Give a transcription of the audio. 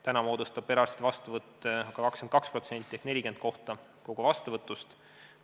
Praegu on perearstide vastuvõtt 22% ehk 40 kohta kogu vastuvõtust.